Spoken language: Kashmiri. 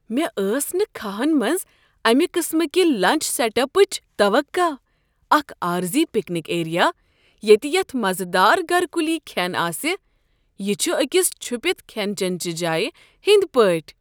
مےٚ ٲس نہٕ كھاہن منٛز امہ قٕسمٕکہِ لنچ سیٹ اپٕچ توقع، اکھ عارضی پکنک ایریا ییٚتہ یتھ مزٕ دار گھر کُلی کھٮ۪ن آسہ، یہ چھ أکس چھپتھ کھین چٮ۪ن چہ جایہ ہنٛدۍ پٲٹھۍ۔!